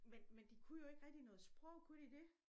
Men men de kunne jo ikke rigtig noget sprog kunne de det?